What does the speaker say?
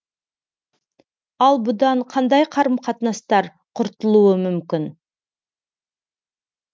ал бұдан қандай қарым қатынастар құртылуы мүмкін